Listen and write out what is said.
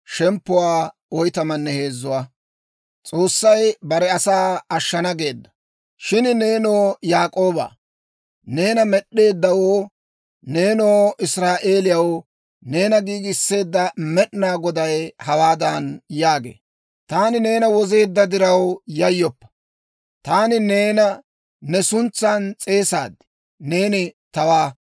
Shin nenoo Yaak'ooba neena med'eeddawoo, nenoo Israa'eeliyaw, neena giigiseedda Med'inaa Goday hawaadan yaagee; «Taani neena wozeedda diraw yayyoppa. Taani neena ne suntsan s'eesaad; neeni tawaa.